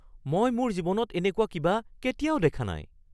মই মোৰ জীৱনত এনেকুৱা কিবা কেতিয়াও দেখা নাই